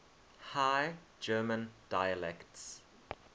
high german dialects